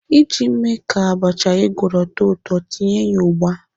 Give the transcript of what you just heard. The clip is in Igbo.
Iji mee ka abacha ị gwọrọ too ụtọ, tinye ya ugba.